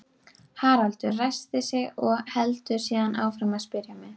Haraldur ræskir sig og heldur síðan áfram að spyrja mig.